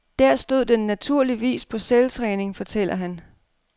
Der stod den naturligvis på selvtræning, fortæller han.